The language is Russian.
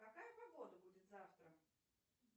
какая погода будет завтра